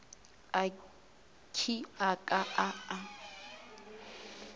akhwi a ka a a